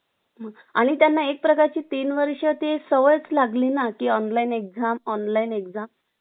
आणि त्यांना एक प्रकारची तीन वर्ष ते सवयच लागली ना की online exam , online exam